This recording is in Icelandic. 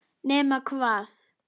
Nema hvað?!